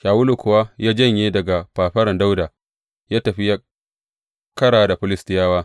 Shawulu kuwa ya janye daga fafaran Dawuda, ya tafi yă ƙara da Filistiyawa.